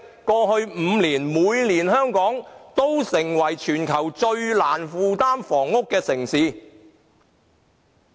過去5年，每年香港都成為全球最難負擔房屋的城市。